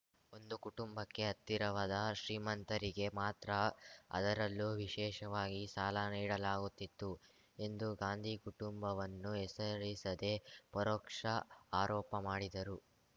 ಒಂದು ಕುಟುಂಬಕ್ಕೆ ಹತ್ತಿರವಾದ ಶ್ರೀಮಂತರಿಗೆ ಮಾತ್ರ ಅದರಲ್ಲೂ ವಿಶೇಷವಾಗಿ ಸಾಲ ನೀಡಲಾಗುತ್ತಿತ್ತು ಎಂದು ಗಾಂಧಿ ಕುಟುಂಬವನ್ನು ಹೆಸರಿಸದೇ ಪರೋಕ್ಷ ಆರೋಪ ಮಾಡಿದರು